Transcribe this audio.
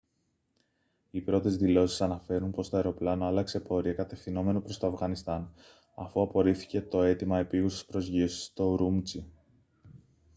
οι πρώτες δηλώσεις αναφέρουν πως το αεροπλάνο άλλαξε πορεία κατευθυνόμενο προς το αφγανιστάν αφού απορρίφθηκε το αίτημα επείγουσας προσγείωσης στο ουρούμτσι